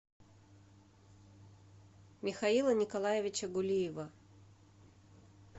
михаила николаевича гулиева